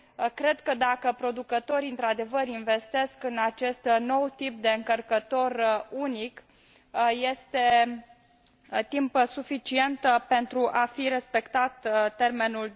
Cred că, dacă producătorii într adevăr investesc în acest nou tip de încărcător unic, este timp suficient pentru a fi respectat termenul